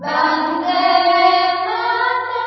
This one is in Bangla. বন্দেমাতরম